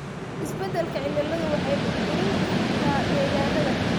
Isbeddelka cimiladu waxay burburin kartaa degaannada.